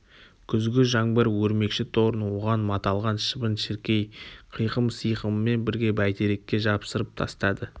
күзгі жаңбыр өрмекші торын оған маталған шыбын-шіркей қиқым-сиқымымен бірге бәйтерекке жапсырып тастады